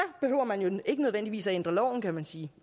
behøver man jo ikke nødvendigvis at ændre loven kan man sige